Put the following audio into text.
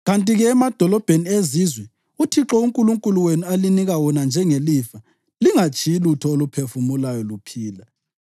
Kanti-ke, emadolobheni ezizwe uThixo uNkulunkulu wenu alinika wona njengelifa, lingatshiyi lutho oluphefumulayo luphila.